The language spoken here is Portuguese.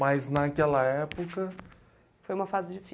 Mas naquela época... Foi uma fase difícil.